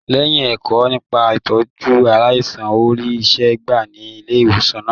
Lẹyìn ẹkọ nípa itọju aláìsàn, o rí iṣẹ gbà ní ilé ìwòsan náà.